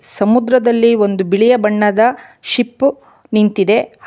ಸಮುದ್ರದಲ್ಲಿ ಒಂದು ಬಿಳಿಯ ಬಣ್ಣದ ಶಿಪ್ ನಿಂತಿದೆ.